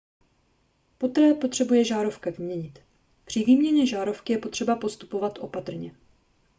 poté potřebuje žárovka vyměnit při výměně žárovky je třeba postupovat opatrně